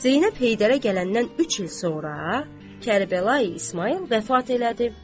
Zeynəb Heydərə gələndən üç il sonra Kərbəlayı İsmayıl vəfat elədi.